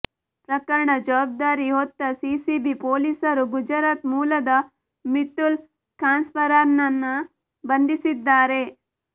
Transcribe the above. ಪ್ರಕರಣ ಜವಾಬ್ದಾರಿ ಹೊತ್ತ ಸಿಸಿಬಿ ಪೋಲಿಸರು ಗುಜರಾತ್ ಮೂಲದ ಮಿಥುಲ್ ಕಾನ್ಸಾರಾನನ್ನ ಬಂಧಿಸಿದ್ದಾರೆ